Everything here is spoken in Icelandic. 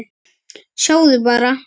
Sjáðu bara.